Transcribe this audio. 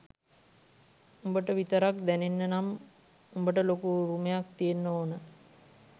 උඹට විතරක් දැනෙන්න නම් උඹට ලොකු උරුමයක් තියෙන්න ඕන